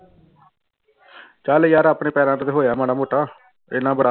ਚੱਲ ਯਾਰ ਆਪਣੇ ਪੈਰਾਂ ਤੇ ਤਾਂ ਹੋਇਆ ਮਾੜਾ ਮੋਟਾ ਇੰਨਾ ਬੜਾ।